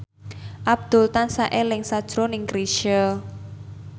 Abdul tansah eling sakjroning Chrisye